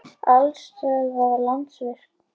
Aflstöðvar- Landsvirkjun.